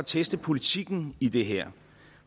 teste politikken i det her